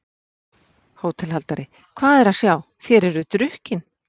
HÓTELHALDARI: Hvað er að sjá: þér eruð drukkin?